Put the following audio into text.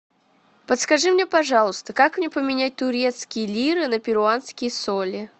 подскажи мне пожалуйста как мне поменять турецкие лиры на перуанские соли